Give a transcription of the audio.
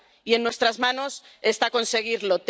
Y en nuestras manos está conseguirlo.